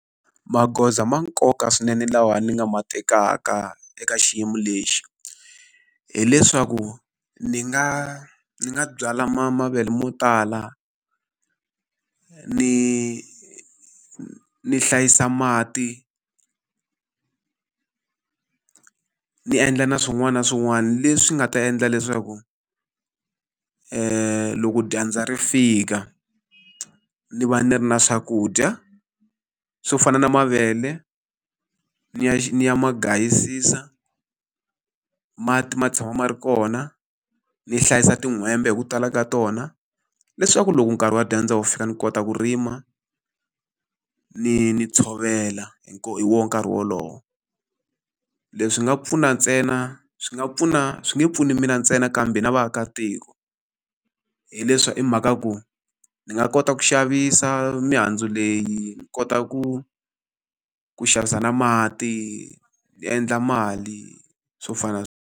Magoza ma nkoka swinene lawa ni nga ma tekaka eka xiyimo lexi, hileswaku ni nga ni nga byala ma mavele mo tala. Ni ni hlayisa mati ni endla na swin'wana na swin'wana leswi nga ta endla leswaku loko dyandza ri fika, ni va ni ri na swakudya swo fana na mavele, ni ya ni ya magayisisa, mati ma tshama ma ri kona, ni hlayisa tin'hwembe hi ku tala ka tona, leswaku loko nkarhi wa dyandza wu fika ni kota ku rima, ni ni tshovela hi hi wona nkarhi wolowo. Leswi nga pfuna ntsena swi nga pfuna swi nge pfuni mina ntsena kambe na vaakatiko, hileswa i mhaka ya ku ni nga kota ku xavisa mihandzu leyi, ni kota ku ku xavisa na mati, ni endla mali swo fana na.